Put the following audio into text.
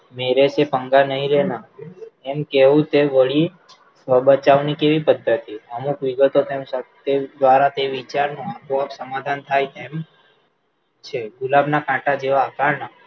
मेरे पे पन्गा नहीं लेना એમ કેવું તે વળી બચાવ ની કેવી પદ્ધતિ અમુક વિગતો દ્વારા તે વિચાર પર સમાધાન થાય તેમ છે ગુલાબ નાં કાંટા જેવા આકાર નાં